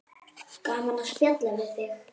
Gaman að spjalla við þig.